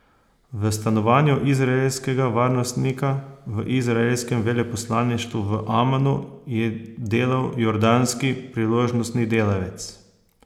V stanovanju izraelskega varnostnika v izraelskem veleposlaništvu v Amanu je delal jordanski priložnostni delavec.